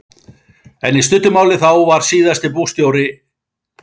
En í stuttu máli þá var síðasti bústjóri eh.